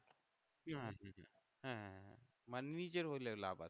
হ্যাঁ হ্যাঁ হ্যাঁ মানে নিজের হলে লাভ আছে